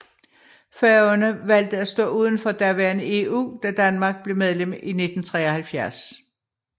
Færøerne valgte at stå udenfor daværende EU da Danmark blev medlem i 1973